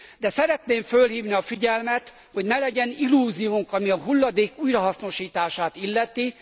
De szeretném fölhívni a figyelmet, hogy ne legyen illúziónk, ami a hulladék újrahasznosítását illeti.